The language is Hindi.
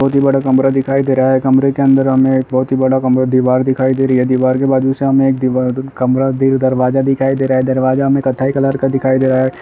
बहुत ही बड़ा कमरा दिखाई दे रहा है कमरे के अंदर हमे एक बहुत बड़ा कमरा दीवार दिखाई दे रही है दीवार के बाजू से हमे एक दीवा क- कमरा द- दरवाजा दिखाई दे रहा है दवाजा हमे कत्थई कलर का दिखाई दे रहा है।